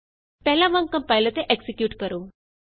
ਪਹਿਲਾਂ ਵਾਂਗ ਕੰਪਾਇਲ ਅਤੇ ਐਕਜ਼ੀਕਿਯੂਟ ਕਰੋ